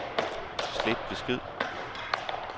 slet besked